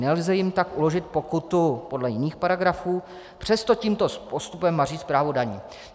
Nelze jim tak uložit pokutu podle jiných paragrafů, přesto tímto postupem maří správu daní."